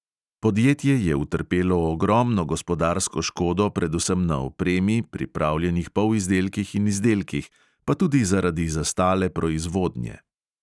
Podjetje je utrpelo ogromno gospodarsko škodo predvsem na opremi, pripravljenih polizdelkih in izdelkih, pa tudi zaradi zastale proizvodnje.